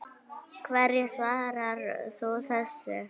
Hverju svarar þú þessu?